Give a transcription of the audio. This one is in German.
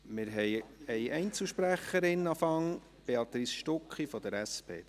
– Wir haben vorerst eine Einzelsprecherin, Béatrice Stucki von der SP.